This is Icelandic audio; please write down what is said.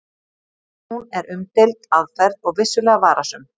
En hún er umdeild aðferð og vissulega varasöm.